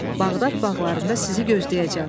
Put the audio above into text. Bağdad bağlarında sizi gözləyəcəm.